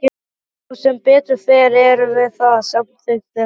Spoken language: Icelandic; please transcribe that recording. Já sem betur fer erum við það, samþykkir hann.